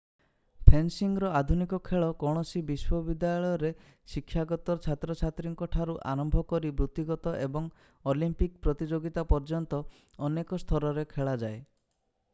ଫେନ୍‌ସିଙ୍ଗର ଆଧୁନିକ ଖେଳ କୌଣସି ବିଶ୍ୱବିଦ୍ୟାଳୟରେ ଶିକ୍ଷାରତ ଛାତ୍ରଛାତ୍ରୀଠାରୁ ଆରମ୍ଭ କରି ବୃତ୍ତିଗତ ଏବଂ ଅଲିମ୍ପିକ୍ ପ୍ରତିଯୋଗିତା ପର୍ଯ୍ୟନ୍ତ ଅନେକ ସ୍ତରରେ ଖେଳାଯାଏ।